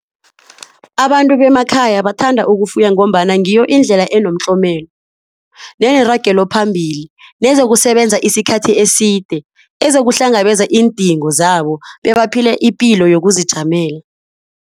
Abantu bemakhaya bathanda ukufuya ngombana ngiyo indlela enomtlomelo neneragelo phambili nezokusebenza isikhathi eside. Ezokuhlangabeza iindingo zabo bebaphile ipilo yokuzijamela.